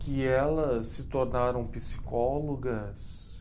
que elas se tornaram psicólogas.